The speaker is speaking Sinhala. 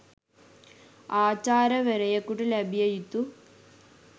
ආචාර්යවරයෙකුට ලැබිය යුතු